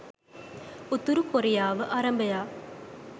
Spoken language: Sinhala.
උතුරු කොරියාව අරබයා